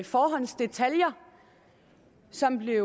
forhåndsdetaljer som blev